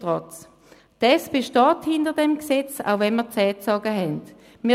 Trotzdem steht die SP hinter diesem Gesetz, auch wenn wir ihm die Zähne gezogen haben.